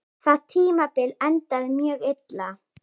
Það tímabil endaði mjög illa.